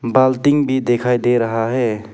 बाल्टी भी दिखाई दे रहा है।